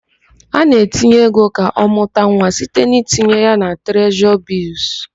A na-etinye ego ka ọmụta nwa site n'itinye ya na trezọrị bịlls.